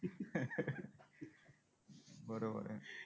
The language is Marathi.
बरोबर आहे.